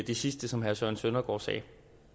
det sidste som herre søren søndergaard sagde